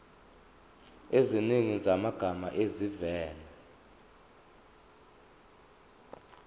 eziningi zamagama avela